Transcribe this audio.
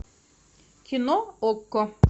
кино окко